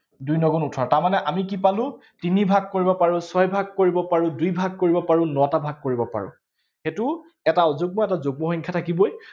দুই ন গুণ ওঠৰ, তাৰমানে আমি কি পালো, তিনি ভাগ কৰিব পাৰো, ছয়ভাগ কৰিব পাৰো, দুই ভাগ কৰিব পাৰো, নটা ভাগ কৰিব পাৰো। সেইটো এটা অযুগ্ম আৰু এটা যুগ্ম সংখ্যা থাকিবই।